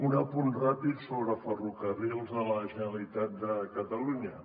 un apunt ràpid sobre ferrocarrils de la generalitat de catalunya